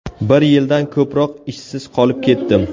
Bir yildan ko‘proq ishsiz qolib ketdim.